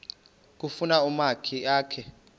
kufuna umakhi akhe